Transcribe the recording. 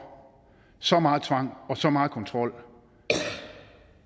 så meget tvang og så meget kontrol